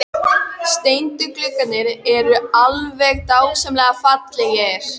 Þegar hann brölti á lappir skvampaði í vatni innanklæða.